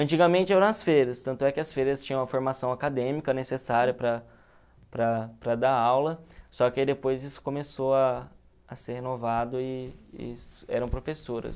Antigamente eram as freiras, tanto é que as tinham a formação acadêmica necessária para para para dar aula, só que aí depois isso começou a a ser renovado e e eram professoras.